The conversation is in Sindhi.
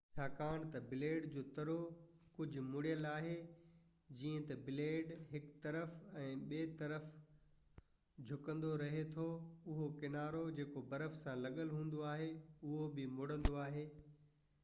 ڇاڪاڻ ته بليڊ جو ترو ڪجهه مڙيل آهي جئين ته بليڊ هڪ طرف يا ٻئي طرف جهڪندو رهي ٿو اهو ڪنارو جيڪو برف سان لڳل هوندو آهي اهو به مڙندو آهي